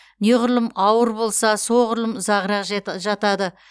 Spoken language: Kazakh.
неғұрлым ауыр болса соғұрлым ұзағырақ жатады